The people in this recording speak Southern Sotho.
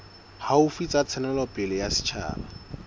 haufi tsa ntshetsopele ya setjhaba